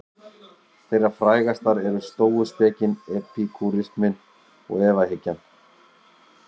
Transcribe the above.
Þeirra frægastar eru stóuspekin, epikúrisminn og efahyggjan.